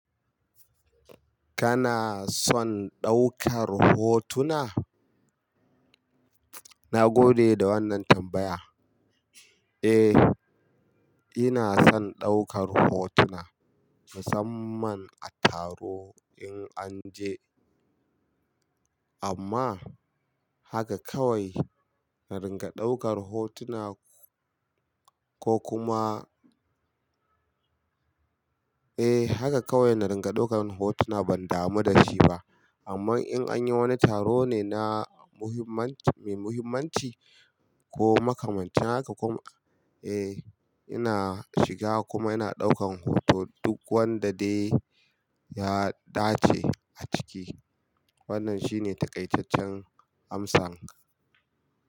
Kana son ɗaukar hotuna? Na gode da wannan tambaya. Eh, ina son ɗaukar hotuna musamman a taro in an je. Amma haka kawai na ringa ɗaukar hotuna ko kuma Eh, haka kawai na ringa ɗaukar hotuna ban damu da shi ba. Amma in anyi wani taro ne na muhimman-mai muhimmanci ko makamancin haka kuma eh ina shiga kuma ina ɗaukan hoto duk wanda dai ya dace a ciki. Wannan shine taƙaitaccen amsa.